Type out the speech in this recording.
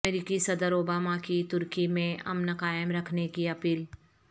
امریکی صدر اوباما کی ترکی میں امن قائم رکھنے کی اپیل